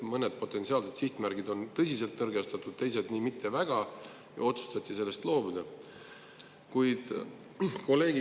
Mõned potentsiaalsed sihtmärgid olid tõsiselt nõrgestatud, teised mitte nii väga ja otsustati sellest loobuda.